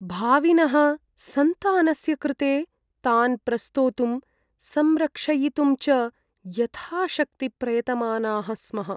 भाविनः सन्तानस्य कृते तान् प्रस्तोतुं, संरक्षयितुं च यथाशक्ति प्रयतमानाः स्मः।